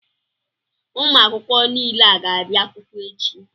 Ụmụ akwụkwọ niile a ga-abịa akwụkwọ echi.